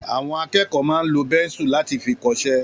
Àwọn akẹ́kọ̀ọ́ máa ń lo bẹ́nsù láti fi kọṣẹ́